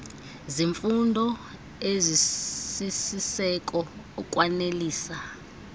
zeemfuno ezisisiseko ukwanelisa